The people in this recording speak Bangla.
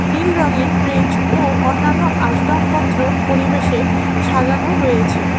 নীল রঙের ব্রিজ ও অন্যান্য আসবাবপত্র পরিবেশে সাজানো রয়েছে।